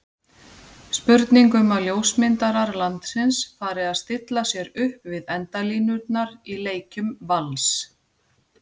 Spurning um að ljósmyndarar landsins fari að stilla sér upp við endalínurnar í leikjum Vals?